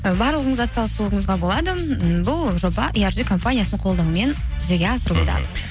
і барлығыңыз атсалысуыңызға болады м бұл жоба компаниясының қолдауымен жүзеге асырылуда мхм